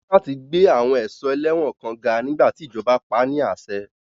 Wọ́n ní láti gbé àwọn ẹ̀ṣọ́ ẹlẹ́wọ̀n kan ga nígbà tí ìjọba pa á ní àṣẹ.